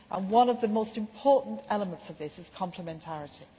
One of the most important elements of this is complementarity.